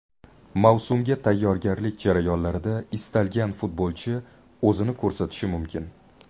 Mavsumga tayyorgarlik jarayonlarida istalgan futbolchi o‘zini ko‘rsatishi mumkin.